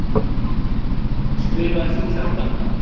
Skrifaðir þú þetta?